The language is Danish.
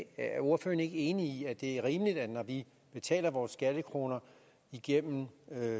er ordføreren ikke enig i at det er rimeligt når vi betaler vores skattekroner igennem